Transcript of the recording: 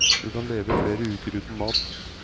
Du kan leve flere uker uten mat.